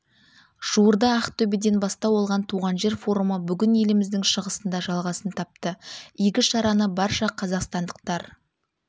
жуырда ақтөбеден бастау алған туған жер форумы бүгін еліміздің шығысында жалғасын тапты игі шараны барша қазақстандықтар